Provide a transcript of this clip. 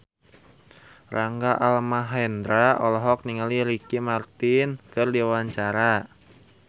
Rangga Almahendra olohok ningali Ricky Martin keur diwawancara